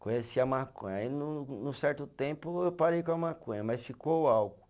Conheci a maconha, aí num num certo tempo eu parei com a maconha, mas ficou o álcool.